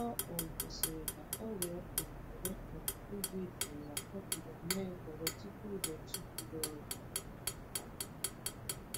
Ọ um kwụsịrị ka o wee um were um oge jụụ na kọfị ya mee ekele tupu ụbọchị juru ọrụ.